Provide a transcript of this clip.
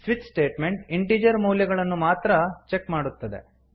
switch statement integer ಮೌಲ್ಯಗಳನ್ನು ಮಾತ್ರ check ಮಾಡುತ್ತದೆ